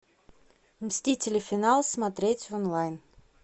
мстители финал смотреть онлайн